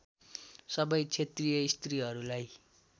सबै क्षेत्रीय स्त्रीहरूलाई